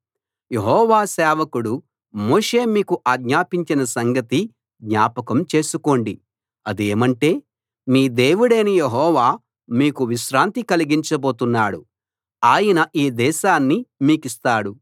యెహోవా సేవకుడు మోషే మీ కు ఆజ్ఞాపించిన సంగతి జ్ఞాపకం చేసుకోండి అదేమంటే మీ దేవుడైన యెహోవా మీకు విశ్రాంతి కలిగించబోతున్నాడు ఆయన ఈ దేశాన్ని మీకిస్తాడు